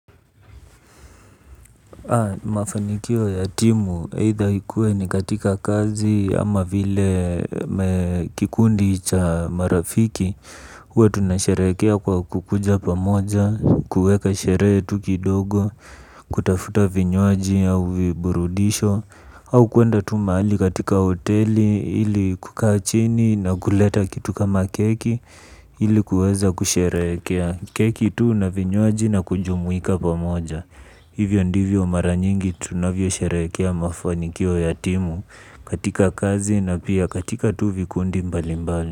Mafanikio ya timu either ikue ni katika kazi ama vile kikundi cha marafiki. Huwa tunasherehekea kwa kukuja pamoja, kueka sherehe tu kidogo, kutafuta vinywaji au viburudisho au kwenda tu mahali katika hoteli ili kukae chini na kuleta kitu kama keki ili kuweza kusherehekea keki tu na vinywaji na kujumuika pamoja. Hivyo ndivyo mara nyingi tunavyo sherehekea mafanikio ya timu katika kazi na pia katika tuvi kundi mbali mbali.